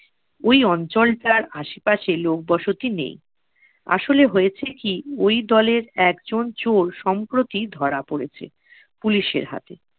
ওই অঞ্চলটার আসেপাশে লোকবসতি নেই। আসলে হয়েছে কি ওই দলের একজন চোর সম্প্রতি ধরা পরেছে police এর হাতে।